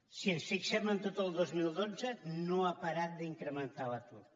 si ens fixem en tot el dos mil dotze no ha parat d’incrementar se l’atur